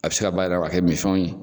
A bi se ka bayɛlɛma k'a kɛ mifɛnw ye.